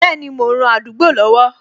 Bẹẹni, mo ń ran àdúgbò lọ́wọ́